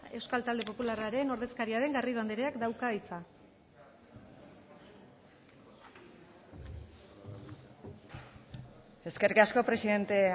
euskal talde popularraren ordezkaria den garrido andereak dauka hitza eskerrik asko presidente